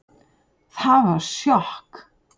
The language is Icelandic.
Það var sjokk